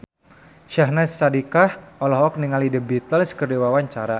Syahnaz Sadiqah olohok ningali The Beatles keur diwawancara